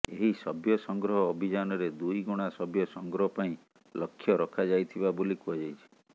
ଏହି ସଭ୍ୟ ସଂଗ୍ରହ ଅଭିଯାନରେ ଦୁଇଗୁଣା ସଭ୍ୟ ସଂଗ୍ରହ ପାଇଁ ଲକ୍ଷ୍ୟ ରଖାଯାଇଥିବା ବୋଲି କୁହାଯାଇଛି